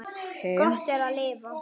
Gott er að lifa.